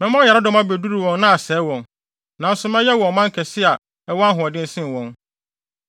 Mɛma ɔyaredɔm abeduru wɔn na asɛe wɔn, nanso mɛyɛ mo ɔman kɛse a ɛwɔ ahoɔden sen wɔn.”